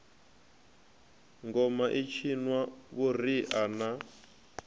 ngoma i tshinwa vhuriha na